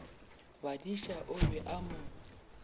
badiša o be a mo